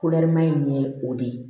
in ye o de ye